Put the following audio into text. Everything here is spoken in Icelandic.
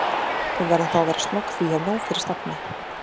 Við verðum þá að vera snögg því ég hef nóg fyrir stafni